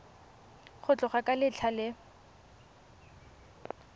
go tloga ka letlha le